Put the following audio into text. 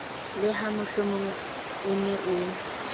le hamohlomong o ne o